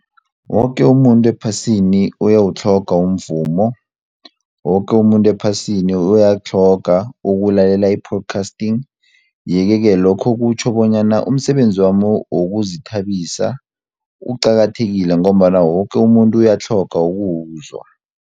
Woke umuntu ephasini uyawutlhonga umvumo, woke umuntu ephasini uyakutlhoga ukulalela i-podcasting yeke-ke lokho kutjho bonyana umsebenzi wami wokuzithabisa uqakathekile ngombana woke umuntu uyatlhoga ukuwuzwa.